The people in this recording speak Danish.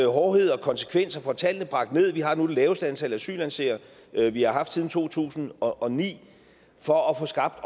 hårdhed og konsekvens og får tallene bragt ned vi har nu det laveste antal asylansøgere vi har haft siden to tusind og ni for at få skabt